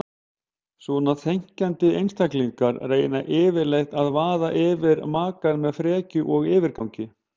Svona þenkjandi einstaklingar reyna yfirleitt að vaða yfir makann með frekju og yfirgangi.